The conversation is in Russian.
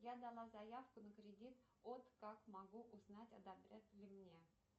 я дала заявку на кредит от как могу узнать одобрят ли мне